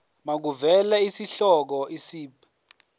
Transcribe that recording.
makuvele isihloko isib